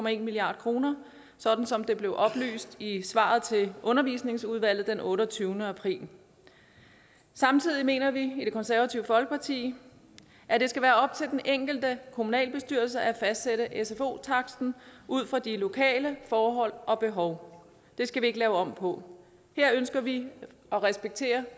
en milliard kr sådan som det blev oplyst i svaret til undervisningsudvalget den otteogtyvende april samtidig mener vi i det konservative folkeparti at det skal være op til den enkelte kommunalbestyrelse at fastsætte sfo taksten ud fra de lokale forhold og behov det skal vi ikke lave om på her ønsker vi at respektere